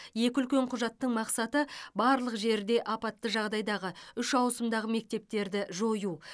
екі үлкен құжаттың мақсаты барлық жерде апатты жағдайдағы үш ауысымдағы мектептерді жою